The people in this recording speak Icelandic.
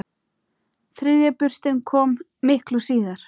Þriðja burstin kom miklu síðar.